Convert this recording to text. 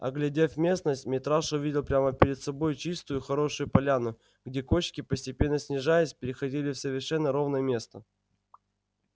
оглядев местность митраша увидел прямо перед собой чистую хорошую поляну где кочки постепенно снижаясь переходили в совершенно ровное место